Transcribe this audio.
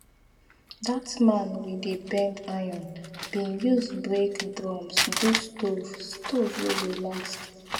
that man we dey bend iron bin use break drums do stove stove wey go last